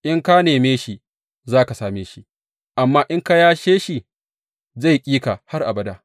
In ka neme shi, za ka same shi; amma in ka yashe shi, zai ƙi ka har abada.